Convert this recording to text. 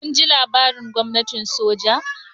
Kun ji labarin gwamnatin soja?